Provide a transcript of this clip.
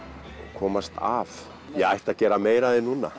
komast af ég ætti að gera meira af því núna